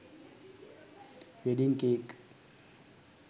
wedding cake